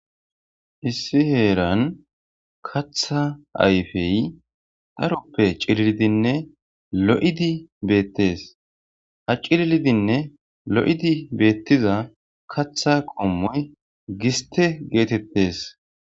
issi heeran katha ayfey dharoppe cilidinne lo7idi beettes ha cillidinne lo7idi beettiza katha qommoy giste geetettes.